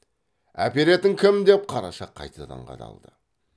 әперетін кім деп қараша қайтадан қадалды